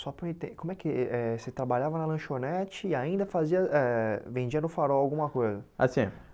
Para eu en Como é que eh você trabalhava na lanchonete e ainda fazia eh vendia no farol alguma coisa? Ah sim ó